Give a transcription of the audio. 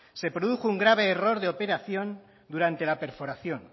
se produjo un grave error de operación durante la perforación